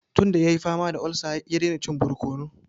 Tun da ya yi fama da olsa, ya daina cin barkono.